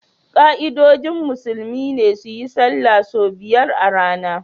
Ka'idojin musulmi ne su yi sallah sau biyar a rana